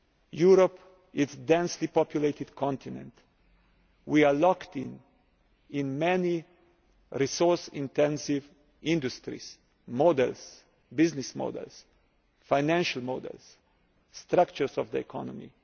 mistaken. Europe is a densely populated continent. We are locked into many resource intensive industrial models, business models, financial models, structures of the